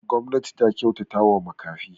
Gwamnati ta kyautatawa makafi.